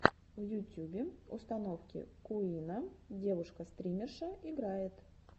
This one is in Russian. в ютюбе установи куинна девушка стримерша играет